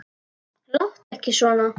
Láttu ekki svona